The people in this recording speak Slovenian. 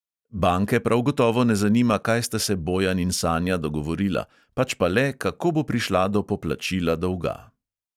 Banke prav gotovo ne zanima, kaj sta se bojan in sanja dogovorila, pač pa le, kako bo prišla do poplačila dolga.